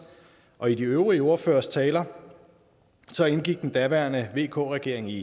og i de øvrige ordføreres taler indgik den daværende vk regering i